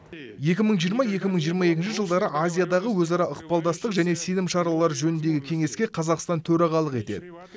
екі мың жиырма екі мың жиырма екінші жылдары азиядағы өзара ықпалдастық және сенім шаралары жөніндегі кеңеске қазақстан төрағалық етеді